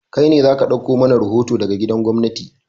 Kai ne za ka ɗauko mana rahoto daga gidan gwamnati!